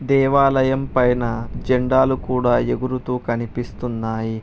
దేవాలయం పైన జెండాలు కూడా ఎగురుతూ కనిపిస్తున్నాయి.